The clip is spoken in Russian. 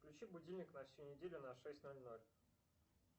включи будильник на всю неделю на шесть ноль ноль